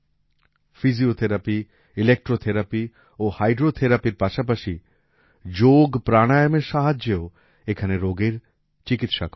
physiotherapy electrotherapy ও হাইড্রো থেরাপির পাশাপাশি যোগপ্রাণায়ামের সাহায্যেও এখানে রোগের চিকিৎসা করা হয়